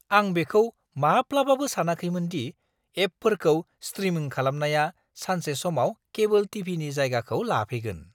आं बेखौ माब्लाबाबो सानाखैमोन दि एपफोरखौ स्ट्रिमिं खालामनाया सानसे समाव केबोल टि.भि.नि जायगाखौ लाफैगोन!